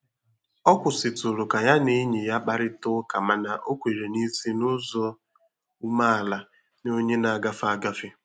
Ọ kwụsịtụrụ ka ya na enyi ya kparịta ụka mana o kwèrè n'isi n'ụzọ umeala nye onye na-agafe agafe.